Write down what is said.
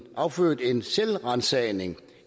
affødt en selvransagelse